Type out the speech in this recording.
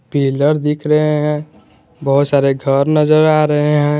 Pillar दिख रहे हैं बहुत सारे घर नजर आ रहे हैं।